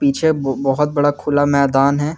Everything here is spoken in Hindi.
पीछे बहुत बड़ा खुला मैदान है।